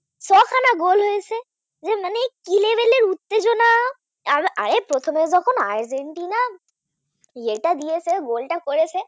আরে প্রথমে যখন আর্জেন্টিনা ইয়েটা দিয়েছে Goal টা করেছে